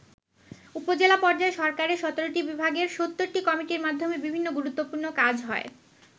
উপজেলা পর্যায় সরকারের ১৭টি বিভাগের ৭০টি কমিটির মাধ্যমে বিভিন্ন গুরুত্বপূর্ণ কাজ হয়।